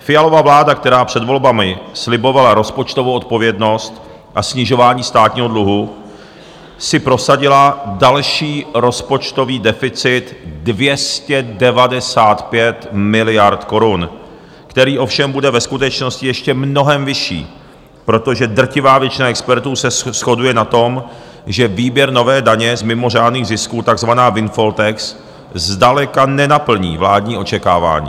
Fialova vláda, která před volbami slibovala rozpočtovou odpovědnost a snižování státního dluhu, si prosadila další rozpočtový deficit 295 miliard korun, který ovšem bude ve skutečnosti ještě mnohem vyšší, protože drtivá většina expertů se shoduje na tom, že výběr nové daně z mimořádných zisků, takzvané windfall tax, zdaleka nenaplní vládní očekávání.